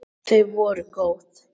Þau voru góð!